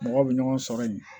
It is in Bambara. Mɔgɔw bɛ ɲɔgɔn sɔrɔ yen